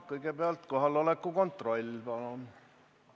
Kõigepealt kohaloleku kontroll, palun!